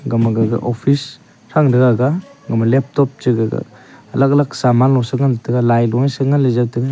gama gaga office thanga taiga aga gama laptop che gaga alag alag sangan lo che ngan tegalailo sengan lejaw taiga.